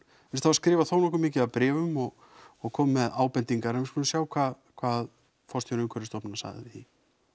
skrifað þónokkuð mikið af bréfum og og komið með ábendingar en við skulum sjá hvað hvað forstjóri Umhverfisstofnunar sagði